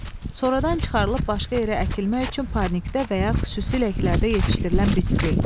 sonradan çıxarılıb başqa yerə əkilmək üçün parnikdə və ya xüsusi ləklərdə yetişdirilən bitki.